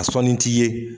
A sɔnni t'i ye